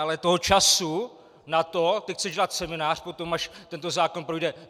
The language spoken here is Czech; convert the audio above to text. Ale toho času na to - ty chceš dělat seminář potom, až tento zákon projde.